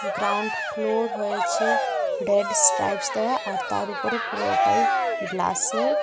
Ground floor হয়েছে reds stripes দেওয়া আর তার উপরে পুরোটাই গ্লাসের.